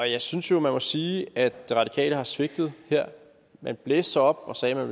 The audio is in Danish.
jeg synes jo man må sige at det radikale venstre har svigtet her man blæste sig op og sagde at